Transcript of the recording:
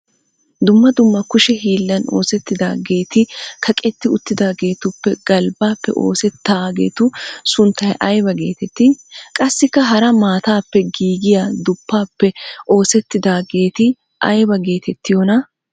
Dumma dumma kushe hiillan oosettidaageet kaqetti uttidaageetuppe galbbaappe oosettaageetu sunttay ayba geetettii? Qassikka hara maatappe giigiya duppaappe oosettidaageeti ayba geetettiyonaa?